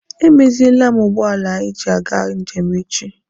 Emeziele m ụgbọala anyị ji aga njem echi.